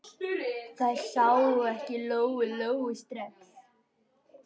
Þær sáu ekki Lóu-Lóu strax.